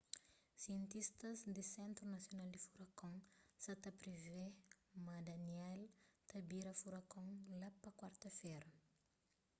sientistas di sentru nasional di furakon sa ta privê ma danielle ta bira furakon la pa kuarta-fera